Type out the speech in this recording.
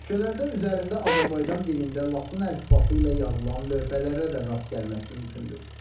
Küçələrdə üzərində Azərbaycan dilində latın əlifbası ilə yazılan lövhələrə də rast gəlmək mümkündür.